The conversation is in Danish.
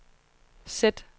sæt